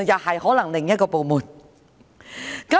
可能是另一個部門。